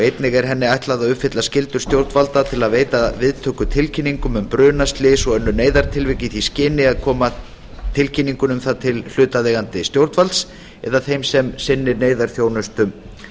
einnig er henni ætlað að uppfylla skyldur stjórnvalda til að veita viðtöku tilkynningum um bruna slys og önnur neyðartilvik í því skyni að koma tilkynningu um það til hlutaðeigandi stjórnvalds eða þess sem sinnir neyðarþjónustu